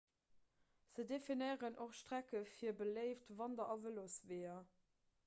se definéieren och strecke fir beléift wander a vëlosweeër